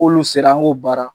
K'olu sera an ko baara.